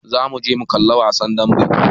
Za mu je mu kalla wasan dambe.